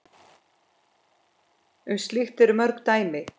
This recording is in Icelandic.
Um slíkt eru mörg dæmi.